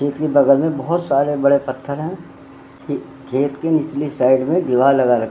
खेत के बगल में बहोत सारे बड़े पत्थर हैं खे-खेत के निचली साइड में दीवाल लगा र --